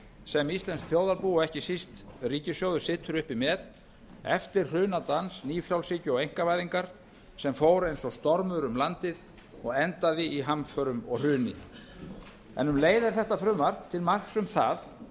sem íslenskt þjóðarbú og ekki síst ríkissjóður situr uppi með eftir hrunadans nýfrjálshyggju og einkavæðingar sem fór eins og stormur um landið og endaði í hamförum og hruni um leið er þetta frumvarp til marks um